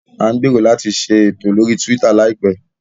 À ń gbèrò láti ṣe ètò lórí Twitter láìpẹ́